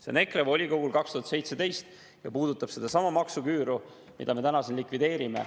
" See on EKRE volikogult 2017 ja puudutab sedasama maksuküüru, mida me täna siin likvideerime.